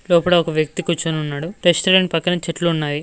లోపల ఒక వ్యక్తి కూర్చొని ఉన్నాడు రెస్టారెంట్ పక్కన చెట్లు ఉన్నాయి.